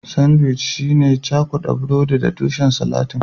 Sandwic shine cakuda burodi da tushen salatin